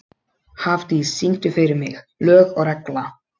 Hafdís, syngdu fyrir mig „Lög og regla“.